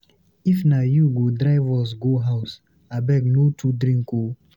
If na you go drive us go house, abeg no too drink oo.